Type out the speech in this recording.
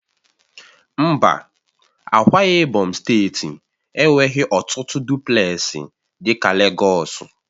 Mba, Ákwá ibom steeti enweghị ọtụtụ dụplesi dị ka Legọs